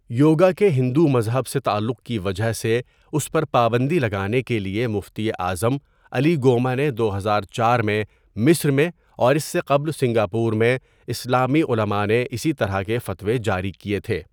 یوگا کے ہندو مذہب سے تعلق کی وجہ سے اس پر پابندی لگانے کے لیے مفتی اعظم علی گوما نے دو ہزار چار میں مصر میں اور اس سے قبل سنگاپور میں اسلامی علماء نے اسی طرح کے فتوے جاری کیے تھے.